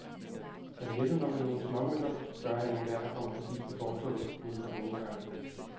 Kan du hjælpe mig med nogle småmønter, spørger han enhver, der kommer forbi på fortovet uden for hovedindgangen.